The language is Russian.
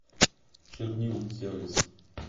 чернил сервис